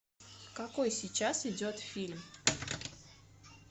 какой сейчас идет фильм